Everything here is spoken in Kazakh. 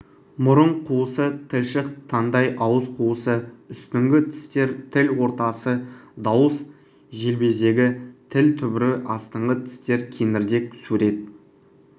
мұрын қуысы тілшік таңдай ауыз қуысы үстіңгі тістер тіл ортасы дауыс желбезегі тіл түбірі астыңғы тістер кеңірдек сурет